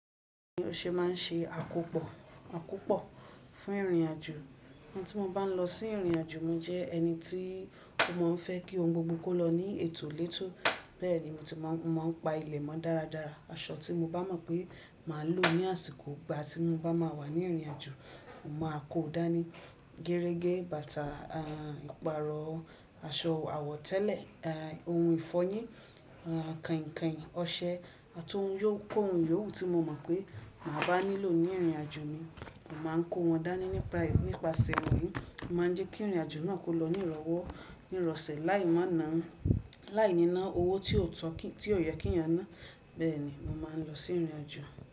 O ṣe máa ń ṣe àkópọ̀, àkópọ̀ fún ìrìnàjò. Ìgbà tí mo bá ń lọ sí ìrìnàjò, mo jẹ́ ẹni tí ò mọ n fẹ́ kí ohun gbogbo kó lọ ní ètò létò. Bẹ́ẹ̀ ni mo ti máa ń pa ilẹ̀ mọ dáradára. Aṣọ tí mo bá mọ̀ pé màá lò ní àsìkò ìgbà tí mo bá máa wà ní ìrìnàjò, mo màá kó dànì gẹrẹ́gẹ, bàtà, ìpààrọ̀, aṣọ àwọ̀tẹ́lẹ̀, ohun ìfọyín, kainkain, ọṣẹ àti ohun yóò kó ohun yó wu tí mo mọ̀ pé màá bá nílò ní ìrìnàjò mi. Mà á kó wọn dání nípa, nípasẹ̀ èyí, oun máa jẹ́ kí ìrìnàjò náà kó lọ ní ìrọ̀wọ́, ní ìrọ̀sẹ̀ láì mọ̀ náà, láì ní ná owó tí o yẹ kí eyań ná. Bẹ́ẹ̀ ni mo máa ń lọ sí ìrìnàjò.